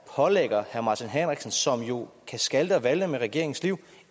pålægger herre martin henriksen som jo kan skalte og valte med regeringens liv